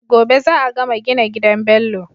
Gobe za a gama gina gidan Bello